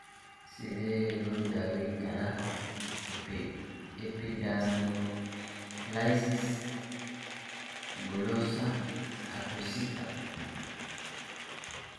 Sidee loo daweyn karaa epidermolysis bullosa acquisita?